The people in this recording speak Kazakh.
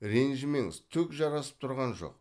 ренжімеңіз түк жарасып тұрған жоқ